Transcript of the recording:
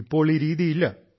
ഇപ്പോൾ ഈ രീതി ഇല്ല